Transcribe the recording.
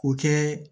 K'o kɛ